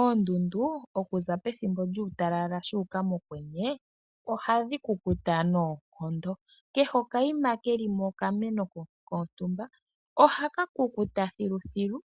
Oondundu okuza pethimbo lyuutalala shuuka mokwenye ohadhi kukuta noonkondo kehe okaima kelimo okameno kontumba ohaka kukuta thiluthilu